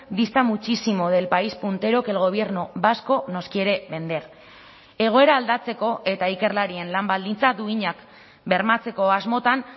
dista muchísimo del país puntero que el gobierno vasco nos quiere vender egoera aldatzeko eta ikerlarien lan baldintza duinak bermatzeko asmotan